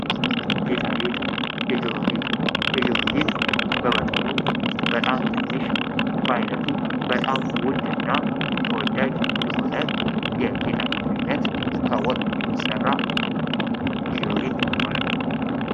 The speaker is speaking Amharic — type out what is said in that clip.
ጌጣጌጥ የጆሮ ጌጥ የጆሮ ጌጥ በመጠኑ በጣም ትንሽ በአይነቱ በጣም ውድና ተወዳጅ የሆነ የጌጣጌጥ አይነት ከወርቅ የሚሠራ የጆሮ ጌጥ ይባላል።